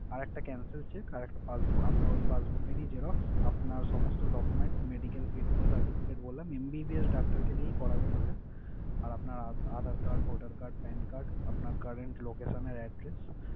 আর একটা cancel cheque, আর একটা passbo আপনার ওই passbook এর ই xerox, আপনার সমস্ত documents । Medical certificate বলেন MBBS doctor কে দিয়েই করাবেন ওটা। আর আপনার other card voter card, bank card, আপনার current location এর address